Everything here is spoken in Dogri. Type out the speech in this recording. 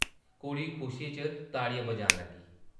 कुड़ी खुशी च ताड़ियां बजान लगी ।